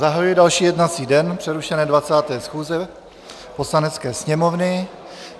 Zahajuji další jednací den přerušené 20. schůze Poslanecké sněmovny.